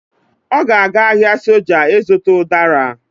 Ọ ga-aga ahịa soja ịzụta ụdara